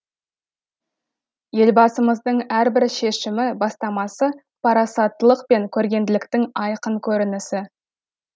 елбасымыздың әрбір шешімі бастамасы парасаттылық пен көрегенділіктің айқын көрінісі